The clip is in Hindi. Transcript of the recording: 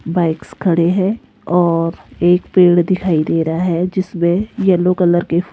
बाइक्स खड़े हैं और एक पेड़ दिखाई दे रहा है जिसमें येलो कलर के --